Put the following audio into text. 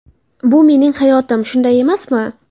Bu mening hayotim, shunday emasmi?